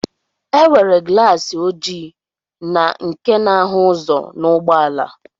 E nwere glaasi oji na nke na-ahụ ụzọ n'ụgbọala